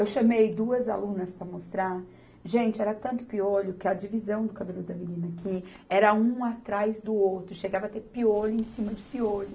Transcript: Eu chamei duas alunas para mostrar, gente, era tanto piolho que a divisão do cabelo da menina, que era um atrás do outro, chegava a ter piolho em cima de piolho,